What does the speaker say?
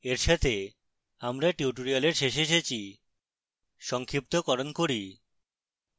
এর সাথে আমরা tutorial শেষে এসেছি সংক্ষিপ্তকরণ করি